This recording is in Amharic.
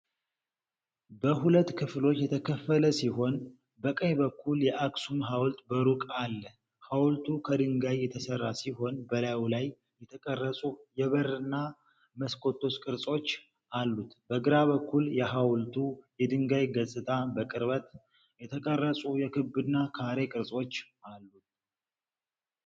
በሁለት ክፍሎች የተከፈለ ሲሆን፣ በቀኝ በኩል የአክሱም ሐውልት በሩቅ አለ። ሐውልቱ ከድንጋይ የተሠራ ሲሆን፣ በላዩ ላይ የተቀረጹ የበርና መስኮቶች ቅርጾች አሉት። በግራ በኩል፣ የሐውልቱ የድንጋይ ገጽታ በቅርበት የተቀረጹ የክብና ካሬ ቅርጾች አሉ።